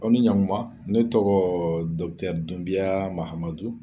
Aw ni ɲakuma ne tɔgɔ ye MAHAMADU